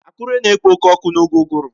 Akure na-ekpo oke ọkụ n'oge uguru